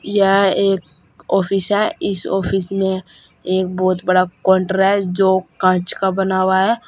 यह एक ऑफिस है इस ऑफिस में एक बहुत बड़ा काउंटर जो कांच का बना हुआ है।